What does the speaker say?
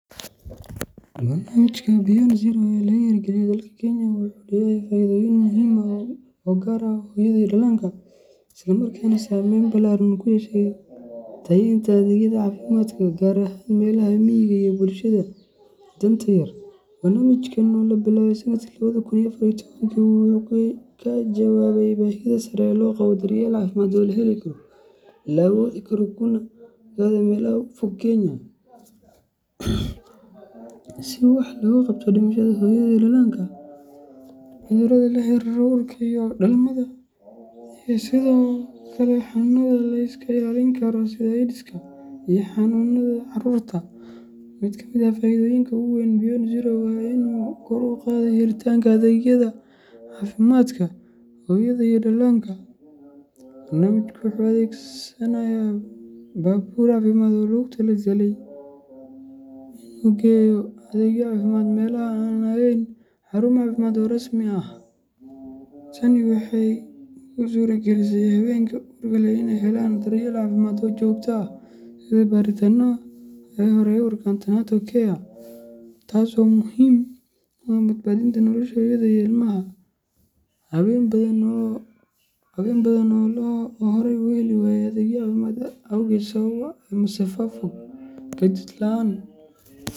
Barnaamijka Beyond Zero ee laga hirgeliyay dalka Kenya wuxuu leeyahay faa’iidooyin muhiim ah oo gaar u ah hooyada iyo dhallaanka, isla markaana saameyn ballaaran ku yeeshay tayeynta adeegyada caafimaadka, gaar ahaan meelaha miyiga ah iyo bulshada danyarta ah. Barnaamijkan oo la bilaabay sanadkii labadi kun iyo afar iyo tobankii, wuxuu ka jawaabayay baahida sare ee loo qabo daryeel caafimaad oo la heli karo, la awoodi karo, kana gaadha meelaha ugu fog ee dalka, si wax looga qabto dhimashada hooyada iyo dhallaanka, cudurrada la xiriira uurka iyo dhalmada, iyo sidoo kale xanuunada la iska ilaalin karo sida Aydiska iyo xanuunada caruurta. Mid ka mid ah faa’iidooyinka ugu waaweyn ee Beyond Zero waa in uu kor u qaaday helitaanka adeegyada caafimaadka hooyada iyo dhallaanka. Barnaamijku wuxuu adeegsanayaa baabuur caafimaad oo loogu tala galay inuu geeyo adeegyo caafimaad meelaha aan lahayn xarumo caafimaad oo rasmi ah. Tani waxay u suuragelisay haweenka uurka leh in ay helaan daryeel caafimaad oo joogto ah sida baaritaanada hore ee uurka antenatal care, taas oo muhiim u ah badbaadinta nolosha hooyada iyo ilmaha. Haween badan oo horay u heli waayay adeegyada caafimaad awgeed sababtoo ah masaafo fog, gaadiid la’aan.